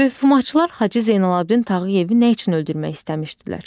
Möhumatçılar Hacı Zeynalabdin Tağıyevi nə üçün öldürmək istəmişdilər?